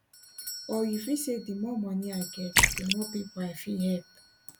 or you fit say di more money i get di more pipo i fit help